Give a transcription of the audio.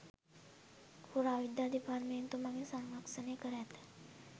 පුරාවිද්‍යා දෙපාර්තමේන්තුව මගින් සංරක්‍ෂණය කර ඇත.